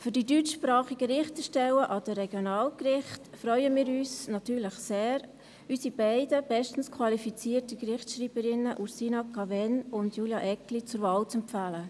Bei den deutschsprachigen Richterstellen an den Regionalgerichten freuen wir uns natürlich sehr, unsere beiden bestens qualifizierten Gerichtsschreiberinnen Ursina Cavegn und Julia Eggli zur Wahl zu empfehlen.